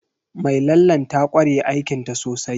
Mai lallen ta ƙware aikinta sosai